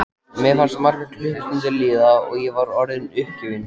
Mér fannst margar klukkustundir líða og ég var orðin uppgefin.